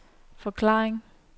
forklaring